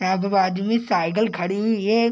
यहां पर बाजू में साइकल खड़ी हुई है